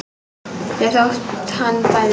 Ekki þótt hann bæði.